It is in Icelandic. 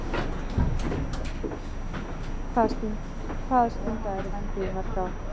Hvað stundaðirðu vændi í mörg ár?